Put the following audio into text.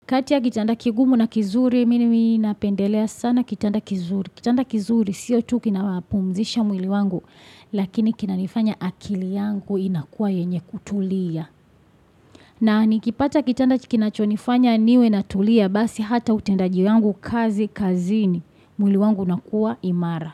Kati ya kitanda kigumu na kizuri, mimi napendelea sana kitanda kizuri. Kitanda kizuri, siyo tu kina wapumzisha mwili wangu, lakini kinanifanya akili yangu inakuwa yenye kutulia. Na nikipata kitanda kinachonifanya niwe na tulia, basi hata utendaji wangu kazi, kazini, mwili wangu unakuwa imara.